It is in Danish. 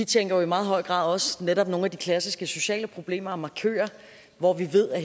tænker jo i meget høj grad også på netop nogle af de klassiske sociale problemer og markører hvor vi ved